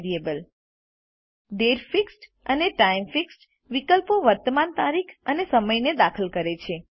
દાતે અને ટાઇમ વિકલ્પો વર્તમાન તારીખ અને સમય દાખલ કરે છે